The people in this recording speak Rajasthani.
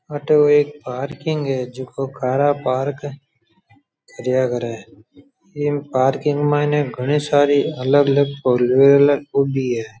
अठो एक पार्किंग है जिको कार पार्क कारया करे है इ पार्किंग माई ने घणी सारी अलग अलग होनी है।